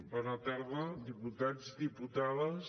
bona tarda diputats diputades